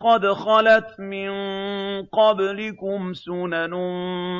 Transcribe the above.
قَدْ خَلَتْ مِن قَبْلِكُمْ سُنَنٌ